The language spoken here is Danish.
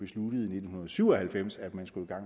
nitten syv og halvfems at man skulle i gang